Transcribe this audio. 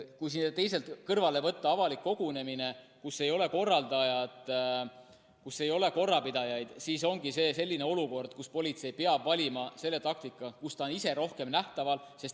Kui siia kõrvale võtta avalik kogunemine, kus ei ole korraldajat, kus ei ole korrapidajaid, siis see ongi selline olukord, kus politsei peab valima taktika, kus ta on ise rohkem nähtaval.